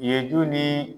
Ye du ni